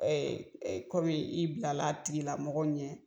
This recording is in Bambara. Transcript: Ee kɔmi i ban la a tigi la mɔgɔ min na.